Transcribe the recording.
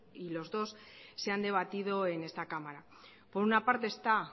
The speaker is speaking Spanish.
y los dos se han debatido en esta cámara por una parte está